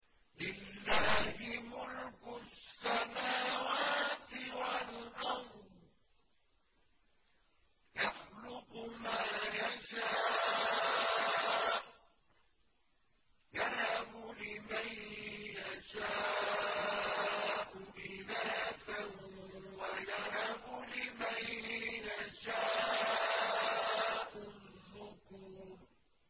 لِّلَّهِ مُلْكُ السَّمَاوَاتِ وَالْأَرْضِ ۚ يَخْلُقُ مَا يَشَاءُ ۚ يَهَبُ لِمَن يَشَاءُ إِنَاثًا وَيَهَبُ لِمَن يَشَاءُ الذُّكُورَ